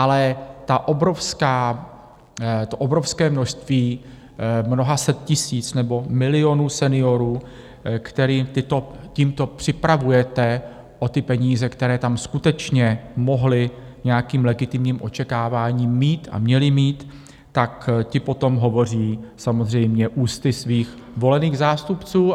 Ale to obrovské množství mnoha set tisíc nebo milionů seniorů, které tímto připravujete o ty peníze, které tam skutečně mohli nějakým legitimním očekáváním mít a měli mít, tak ti potom hovoří samozřejmě ústy svých volených zástupců.